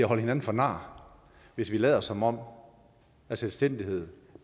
holde hinanden for nar hvis vi lader som om selvstændighed